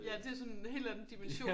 Ja det sådan hel anden dimension